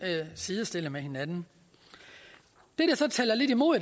sidestille med hinanden det der så taler lidt imod